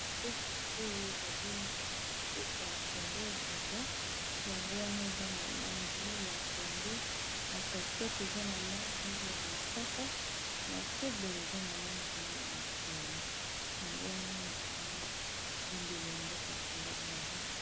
Bendele oyo ezali mboka congo brazza yango, wana eza na langi ya pondo na katikate eza na langi ya mosaka, na se boye eza na langi ya motane, yango wana ezali bendele mboka congo brazza.